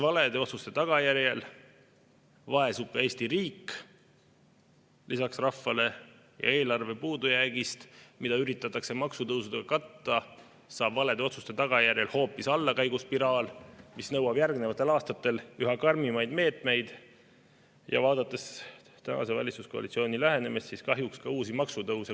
Valede otsuste tagajärjel vaesub peale rahva ka Eesti riik ja eelarve puudujäägist, mida üritatakse maksutõusudega katta, saab valede otsuste tagajärjel alguse hoopis allakäiguspiraal, mis nõuab järgnevatel aastatel üha karmimaid meetmeid, ja kui vaadata tänase valitsuskoalitsiooni lähenemist, siis võib kahjuks arvata, et ka uusi maksutõuse.